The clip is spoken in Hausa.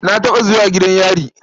Na taɓa zuwa gidan yari.